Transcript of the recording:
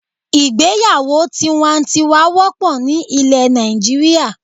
Ìgbéyàwó tiwantiwan wópò ni ilè Nàìjíríà